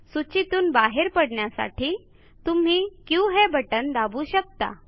सूचीतून बाहेर पडण्यासाठी तुम्ही क्यू हे बटण दाबू शकता